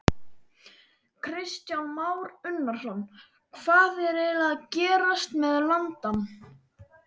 Kristján Már Unnarsson: Hvað er eiginlega að gerast með landann?